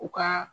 U ka